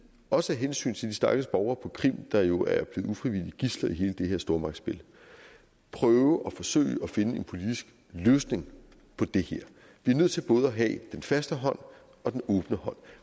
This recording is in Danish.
også af hensyn til de stakkels borgere på krim der jo ufrivilligt er blevet gidsler i hele det her stormagtsspil forsøge at finde en politisk løsning på det her vi er nødt til både at have den faste hånd og den åbne hånd